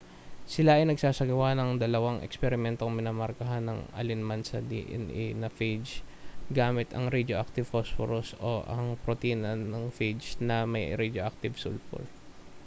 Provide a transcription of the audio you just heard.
sila ay nagsagawa ng dalawang eksperimentong minarkahan ang alinman sa dna sa phage gamit ang radioactive phosphorus o ang protina ng phage na may radioactive sulfur